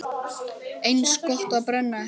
Eins gott að brenna ekki!